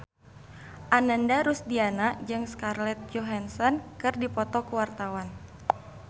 Ananda Rusdiana jeung Scarlett Johansson keur dipoto ku wartawan